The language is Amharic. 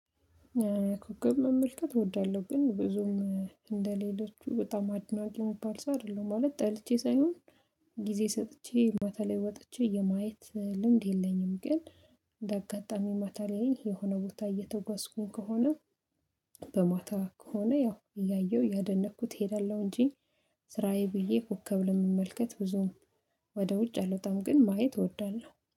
ኮከብ መመልከት እወዳለሁ። ግን ብዙም እንደሌሎች በጣም አድናቂ የሚባል ሰው አይደለም ማለት ጠልቼ ሳይሆን ጊዜ ሰጥቼ ማታ ላይ ወጥቼ የማየት ልምድ የለኝም። ግን በአጋጣሚ ማታ ላይ የሆነ ቦታ እየተጓዝኩኝ ከሆነ በማታ ከሆነ ያው እያየሁ ያደነቅኩት እሄዳለሁ። እንጂ ስራዬ ብዬ ኮከብ ለመመልከት ብዙም ወደ ውጭ አልወጣም። በጣም ግን ማየት እወዳለሁ